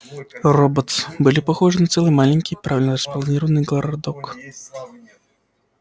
роботс были похожи на целый маленький правильно распланированный городок